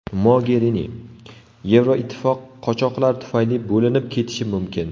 Mogerini: Yevroittifoq qochoqlar tufayli bo‘linib ketishi mumkin.